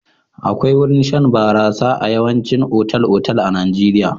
Akwai wurin shan barasa a yawaicin otal-otal a Najeirya.